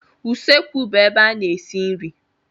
Usekwu bụ ebe a na-esi nri.